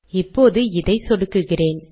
இப்போது இதை சொடுக்குகிறேன்